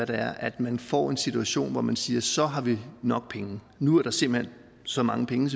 det er at man får en situation hvor man siger så har vi nok penge nu er der simpelt hen så mange penge